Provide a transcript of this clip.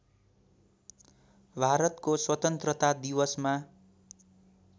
भारतको स्वतन्त्रता दिवसमा